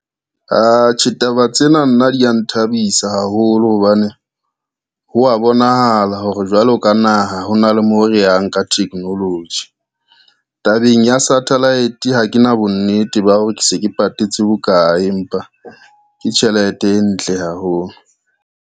Atjhe taba tsena nna dia nthabisa haholo, hobane ho a bonahala hore jwalo ka naha ho na le mo re yang ka technology. Tabeng ya satellite ha ke na bonnete ba hore ke se ke patetse bokae, empa ke tjhelete e ntle haholo.